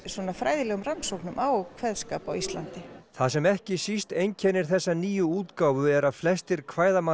fræðilegum rannsóknum á kveðskap á Íslandi það sem ekki síst einkennir þessa nýju útgáfu er að flestir